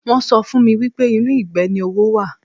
Wọn sọ fún mi wípé inú ìgbẹ́ ni owó wà.